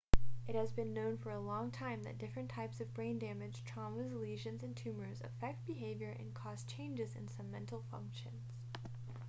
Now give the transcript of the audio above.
it has been known for a long time that different types of brain damage traumas lesions and tumours affect behaviour and cause changes in some mental functions